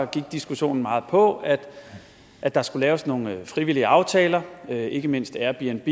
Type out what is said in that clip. diskussionen meget på at at der skulle laves nogle frivillige aftaler og ikke mindst airbnb